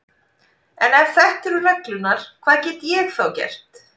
En ef þetta eru reglurnar, hvað get ég þá gert?